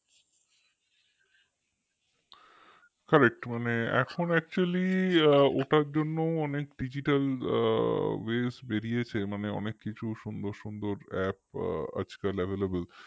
correct মানে এখন actually ওটার জন্য অনেক digital base বেরিয়েছে মানে অনেক কিছু সুন্দর সুন্দর app আজকাল available